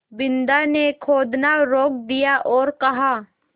बिन्दा ने खोदना रोक दिया और कहा